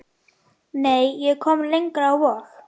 Nei, ég var komin lengra, á Vog.